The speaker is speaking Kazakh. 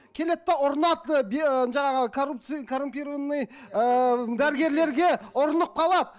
келеді де ұрынады ы жаңағы коррупция коррумпированный ыыы дәрігерлерге ұрынып қалады